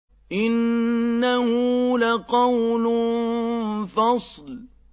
إِنَّهُ لَقَوْلٌ فَصْلٌ